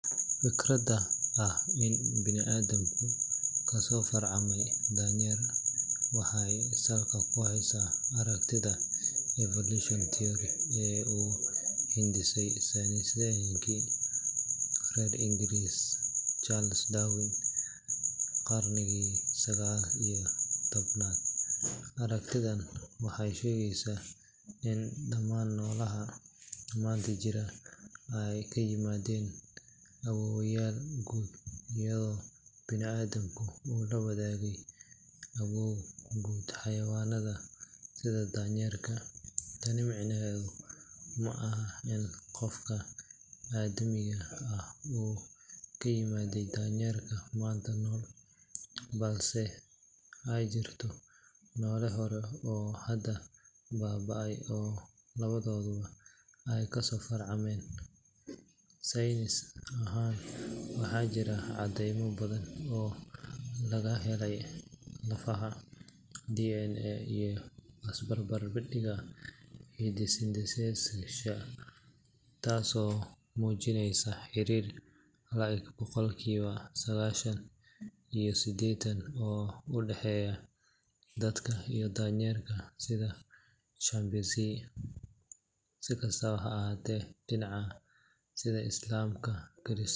Fikradda ah in banii’aadamku kasoo farcamay daanyeer waxay salka ku haysaa aragtida evolution theory ee uu hindisay saynisyahankii reer Ingiriis Charles Darwin qarnigii sagaal iyo tobnaad. Aragtidan waxay sheegaysaa in dhammaan noolaha maanta jira ay ka yimaadeen awoowayaal guud, iyadoo banii’aadamku uu la wadaagay awoow guud xayawaanada sida daanyeerka. Tani micnaheedu maaha in qofka aadmiga ah uu ka yimid daanyeerka maanta nool, balse ay jirto noole hore oo hadda baaba’ay oo labadooda ay kasoo farcameen. Saynis ahaan, waxaa jira caddeymo badan oo laga helay lafaha, DNA, iyo isbarbardhigga hiddo-sideyaasha taasoo muujinaysa xiriir la’eg boqolkiiba sagaashan iyo siddeed oo u dhexeeya dadka iyo daanyeerka sida chimpanzee. Si kastaba ha ahaatee, diinaha sida Islaamka, Kirishtaanka.